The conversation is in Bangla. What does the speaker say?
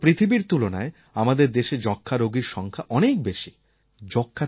সমগ্র পৃথিবীর তুলনায় আমাদের দেশে যক্ষ্মা রোগীর সংখ্যা অনেক বেশি